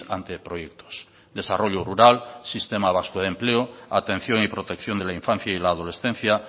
anteproyectos desarrollo rural sistema vasco de empleo atención y protección de la infancia y la adolescencia